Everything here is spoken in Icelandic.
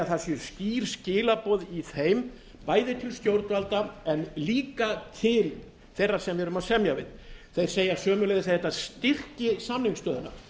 það séu skýr skilaboð í þeim bæði til stjórnvalda en líka til þeirra sem við erum að semja við þeir segja sömuleiðis að þetta styrki samningsstöðuna